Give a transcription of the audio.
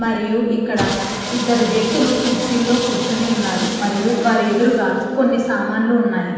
మరియు ఇక్కడ ఇద్దరు వ్యక్తులు కుర్చీలో కూర్చొని ఉన్నారు. మరియు వారి ఎదురుగ కొన్ని సామాన్లు ఉన్నాయి.